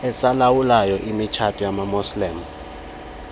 esilawulayo imitshato yamamuslim